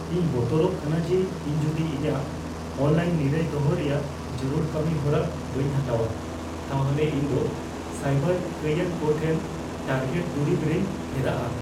ᱤᱧ ᱵᱚᱛᱚᱨᱚᱜ ᱠᱟᱱᱟ ᱡᱮ ᱤᱧ ᱡᱩᱫᱤ ᱤᱧᱟᱜ ᱚᱱᱞᱟᱭᱤᱱ ᱱᱤᱨᱟᱹᱭ ᱫᱚᱦᱚ ᱨᱮᱭᱟᱜ ᱡᱟᱹᱨᱩᱲ ᱠᱟᱹᱢᱤ ᱦᱚᱨᱟ ᱵᱟᱹᱧ ᱦᱟᱛᱟᱣᱟ, ᱛᱟᱦᱚᱞᱮ ᱤᱧ ᱫᱚ ᱥᱟᱭᱵᱟᱨ ᱠᱟᱹᱭᱟᱱ ᱠᱚ ᱴᱷᱮᱱ ᱴᱟᱨᱜᱮᱴ ᱫᱩᱨᱤᱵ ᱨᱮᱧ ᱯᱷᱮᱨᱟᱜᱼᱟ ᱾